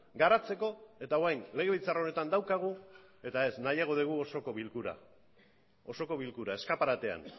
garatzeko eta orain legebiltzar honetan daukagu eta ez nahiago dugu osoko bilkura osoko bilkura eskaparatean